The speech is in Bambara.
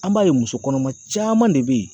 An b'a ye muso kɔnɔma caman de bɛ yen